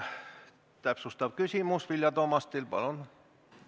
Täpsustav küsimus Vilja Toomastilt, palun!